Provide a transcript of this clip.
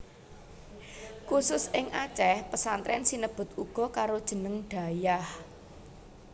Khusus ing Aceh pesantren sinebut uga karo jeneng dayah